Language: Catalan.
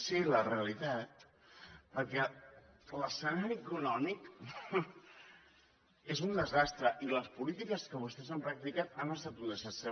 sí la realitat perquè l’escenari econòmic és un desastre i les polítiques que vostès han practicat han estat un desastre